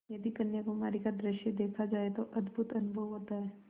यदि कन्याकुमारी का दृश्य देखा जाए तो अद्भुत अनुभव होता है